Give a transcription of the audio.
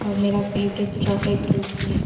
और मेरा favourite chocolate cake भी है।